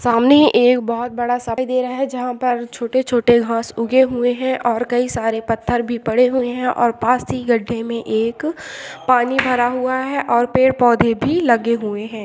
सामने एक बहुत बड़ा सा दिखाई दे रहा है जहां पर छोटे-छोटे घांस उगे हुए है और कई सारे पत्थर भी पड़े हुए है और पास ही गड्ढे में एक पानी भरा हुआ है और पेड़-पौधे भी लगे हुए है।